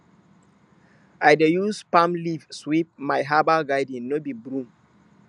i dey use palm leaf sweep my herbal garden no be broom